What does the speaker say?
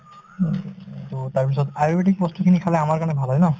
to তাৰপিছত আয়ুৰ্বেদিক বস্তুখিনি খালে আমাৰ কাৰণে ভাল হয় ন